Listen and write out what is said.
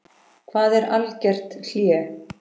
Hvað er algert hlé?